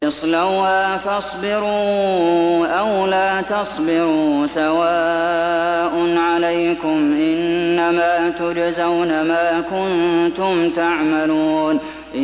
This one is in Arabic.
اصْلَوْهَا فَاصْبِرُوا أَوْ لَا تَصْبِرُوا سَوَاءٌ عَلَيْكُمْ ۖ إِنَّمَا تُجْزَوْنَ مَا كُنتُمْ تَعْمَلُونَ